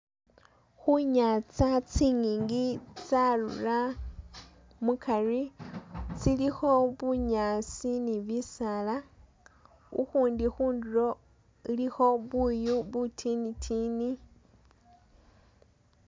Khunyanza tsingingi tsarura mukari tsilikho bunyaasi ni bisaala ukhundi khundulo ilikho buyu butini tini